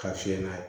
Ka fiyɛ n'a ye